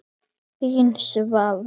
Þín, Svava.